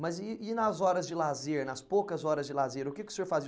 Mas e e nas horas de lazer, nas poucas horas de lazer, o que que o senhor fazia?